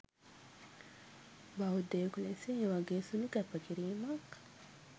බෞද්ධයකු ලෙස ඒ වගේ සුළු කැපකිරිමක්